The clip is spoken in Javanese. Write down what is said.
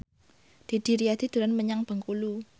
Didi Riyadi dolan menyang Bengkulu